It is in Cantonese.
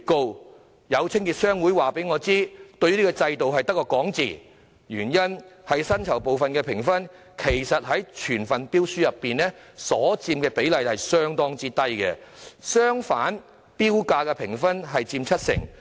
可是，有清潔商會告訴我，這個制度只流於空談，因為薪酬部分的評分在整份標書中所佔的評分比例相當低；相反，投標價的評分則佔七成。